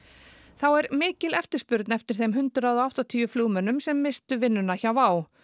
þá er mikil eftirspurn eftir þeim hundrað og áttatíu flugmönnum sem misstu vinnuna hjá WOW